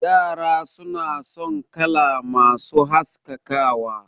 Yara suna son kala masu haskakawa